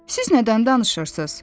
"Siz nədən danışırsız?"